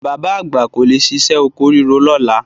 Bàbá àgbà kò lè ṣiṣẹ́ oko ríro lọ́la.